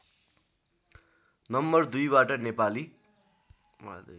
number दुईबाट नेपाली